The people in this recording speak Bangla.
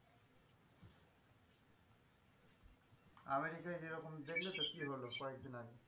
আমেরিকায় যেরকম দখলে তো কি হল কয়েক দিন আগে?